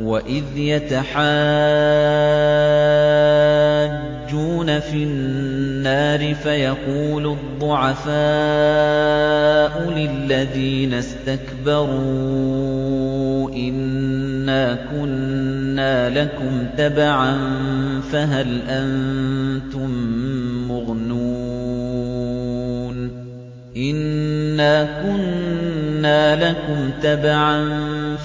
وَإِذْ يَتَحَاجُّونَ فِي النَّارِ فَيَقُولُ الضُّعَفَاءُ لِلَّذِينَ اسْتَكْبَرُوا إِنَّا كُنَّا لَكُمْ تَبَعًا